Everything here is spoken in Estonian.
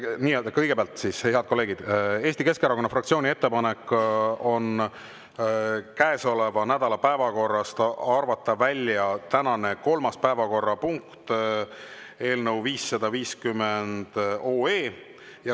Nii, kõigepealt, head kolleegid, Eesti Keskerakonna fraktsiooni ettepanek on käesoleva nädala päevakorrast arvata välja tänane kolmas päevakorrapunkt, eelnõu 550.